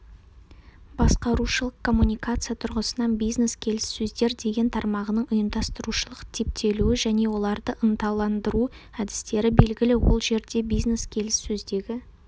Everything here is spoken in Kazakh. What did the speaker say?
басқарушылық коммуникация тұрғысынан бизнес-келіссөздер деген тармағының ұйымдастырушылық типтелуі және оларды ынталандыру әдістері белгілі ол жерде бизнес-келіссөздегі